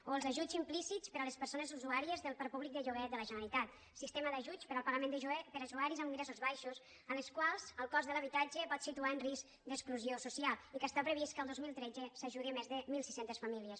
o els ajuts implícits per a les persones usuàries del parc púbic de lloguer de la generalitat sistema d’ajuts per al pagament de lloguer per a usuaris amb ingressos baixos als quals el cost de l’habitatge pot situar en risc d’exclusió social i que està previst que el dos mil tretze s’ajudi més de mil sis cents famílies